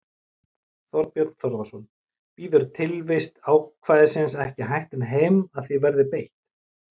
Þorbjörn Þórðarson: Bíður tilvist ákvæðisins ekki hættunni heim að því verði beitt?